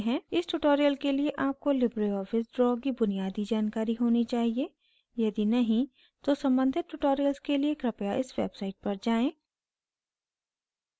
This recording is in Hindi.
इस tutorial के लिए आपको लिबरे ऑफिस draw की बुनियादी जानकारी होनी चाहिए यदि नहीं तो सम्बंधित tutorials के लिए कृपया इस website पर जाएँ